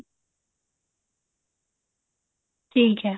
ਠੀਕ ਹੈ